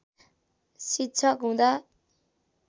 शिक्षक हुँदा